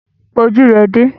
Pa ojú rẹ dé!